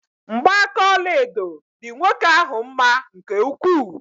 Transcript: Mgba aka ọlaedo dị nwoke ahụ mma nke ukwuu.